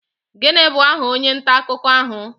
Gịnị bụ aha onye nta akụkọ ahụ?